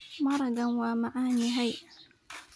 Maragan wa macanyhy.